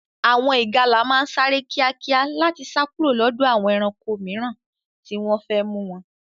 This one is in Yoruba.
Àwọn ìgalà máa ń sáré kíákíá láti sá kúrò lọ́dọ̀ àwọn ẹranko mìíràn tí wọ́n fẹ́ mú wọn.